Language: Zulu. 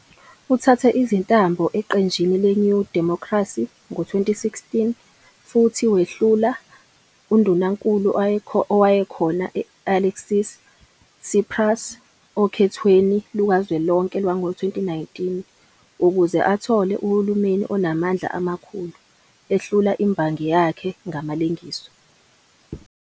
Uthathe izintambo eqenjini le-New Democracy ngo-2016 futhi wehlula undunankulu owayekhona u-Alexis Tsipras okhethweni lukazwelonke lwango-2019 ukuze athole uhulumeni onamandla amakhulu, ehlula imbangi yakhe ngamalengiso.